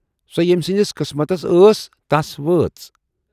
سۅ ییمۍ سٕندِس قٕسمتَس ٲس، تَس وٲژ۔